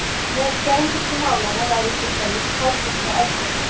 Meðal germönsku málanna væri til dæmis háþýska eldri.